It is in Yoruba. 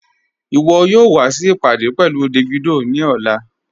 Iwọ̀ yóò wà sí ìpádé pẹ̀lú Davido ni ọ̀lá